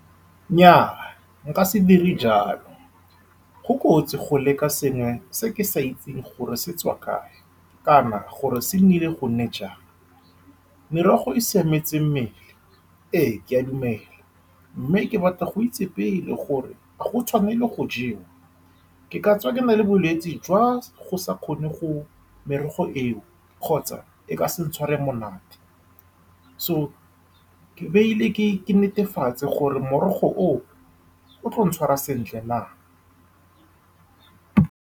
Nnyaa, nka se dire jalo. Go kotsi go leka sengwe se ke sa itseng gore se tswa kae, kana gore se nnile gone jang. Merogo e siametse mmele ee ke a dumela, mme ke batla go itse pele gore a go tshwanetswe go jewa ke katswa, ke nale bolwetsi jwa , go sa kgone go merogo eo, kgotsa e ka se ntshware monate. So ke tlamehile ke netefatse gore morogo oo o tla ntshwara sentle na.